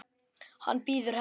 Hann bíður hennar.